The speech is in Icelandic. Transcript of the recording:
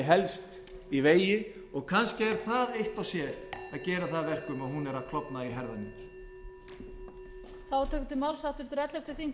helst í vegi og kannski er það eitt og sér sem gerir það að verkum að hún er að klofna í herðar niður